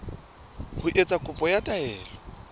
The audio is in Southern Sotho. ho etsa kopo ya taelo